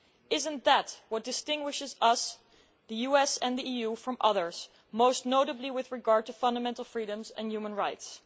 Is it not that which distinguishes us the US and the EU from others, most notably with regard to fundamental freedoms and human rights?